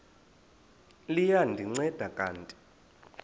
liya ndinceda kanti